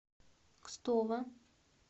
кстово